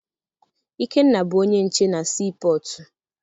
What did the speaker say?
Ikenna bụ onye nche na sii pọtụ.